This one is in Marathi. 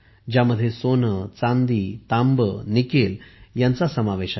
यामध्ये सोने चांदी तांबे आणि निकेल ह्यांचा समावेश आहे